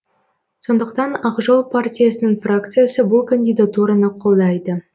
сондықтан ақ жол партиясының фракциясы бұл кандидатураны қолдайды